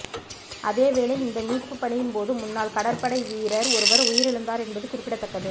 அதேவேளை இந்த மீட்பு பணியின் போது முன்னாள் கடற்படை வீரர் ஒருவர் உயிரிழந்திருந்தார் என்பது குறிப்பிடத்தக்கது